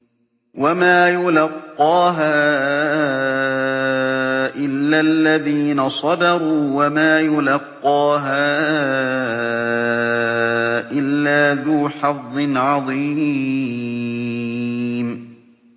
وَمَا يُلَقَّاهَا إِلَّا الَّذِينَ صَبَرُوا وَمَا يُلَقَّاهَا إِلَّا ذُو حَظٍّ عَظِيمٍ